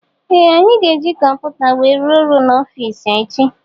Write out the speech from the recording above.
Ee anyị ga -eji kọmputa wee rụọ ọrụ n'ofici echi.